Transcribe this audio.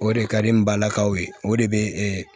O de ka di n balakaw ye o de bɛ